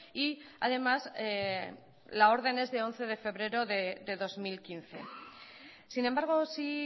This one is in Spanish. y además la orden es de once de febrero de dos mil quince sin embargo sí